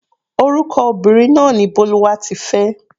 Orúkọ obìnrin náà ni Bólúwatifẹ́.